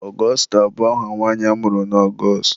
Augusta bụ aha nwanyị amụrụ na Ọgọstụ.